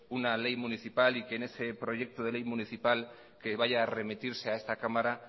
una ley municipal y que en ese proyecto de ley municipal que vaya a remitirse a esta cámara